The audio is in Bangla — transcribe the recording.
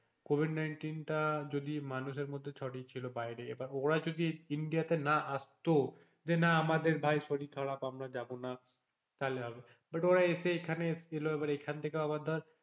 কোভিড nineteen টা যদি মানুষের মধ্যে ছড়িয়ে ছিল বাইরে বা এবার ওরাই যদি ইন্ডিয়াতে না আসতো যে না আমাদের ভাই শরীরে ছড়াক আমরা যাবো না তাহলে হবে but ওরা এসে এখানে এল এখান থেকে আবার ধর,